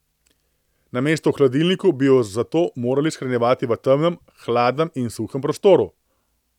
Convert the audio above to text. Namesto v hladilniku bi jo zato morali shranjevati v temnem, hladnem in suhem prostoru.